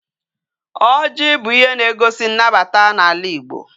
Oji bu ihe na egosi nnabata na ala igbo